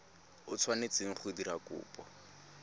o tshwanetseng go dira kopo